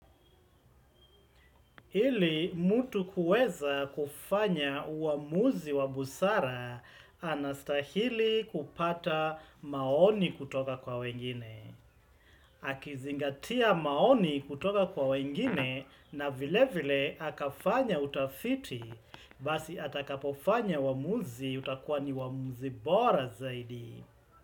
Hili, mtu kuweza kufanya uamuzi wa busara anastahili kupata maoni kutoka kwa wengine. Akizingatia maoni kutoka kwa wengine na vile vile akafanya utafiti, basi atakapofanya uamuzi utakuwa ni uamuzi bora zaidi.